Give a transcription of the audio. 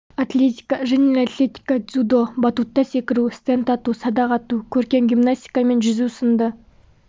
атлетика жеңіл атлетика дзюдо батутта секіру стенд ату садақ ату көркем гимнастика мен жүзу сынды